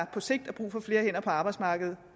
på sigt er brug for flere hænder på arbejdsmarkedet